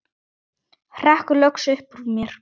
hrekkur loks upp úr mér.